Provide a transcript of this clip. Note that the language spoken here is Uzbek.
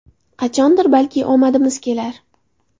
Qachondir, balki, omadimiz kelar.